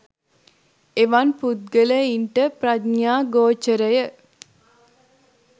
එවන් පුද්ගලයින්ට ප්‍රඥ්ඥා ගෝචරය